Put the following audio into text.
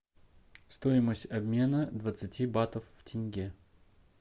стоимость обмена двадцати батов в тенге